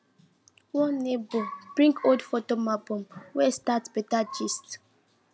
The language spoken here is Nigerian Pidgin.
one neighbor bring old photo album wey start better gist